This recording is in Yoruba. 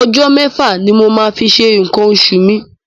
Ọjọ́ mẹ́fà ni mo máa fi ṣe nǹkan oṣù mi.